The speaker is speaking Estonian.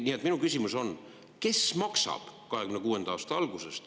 Nii et minu küsimus on, kes maksab 2026. aasta algusest.